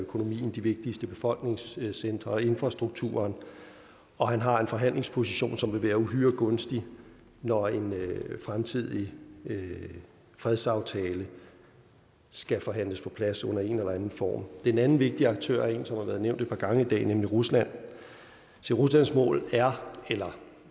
økonomien de vigtigste befolkningscentre og infrastrukturen og han har en forhandlingsposition som vil være uhyre gunstig når en fremtidig fredsaftale skal forhandles på plads under en eller anden form den anden vigtige aktør er en som har været nævnt et par gange i dag nemlig rusland ruslands mål er eller